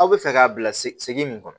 Aw bɛ fɛ k'a bila segi min kɔnɔ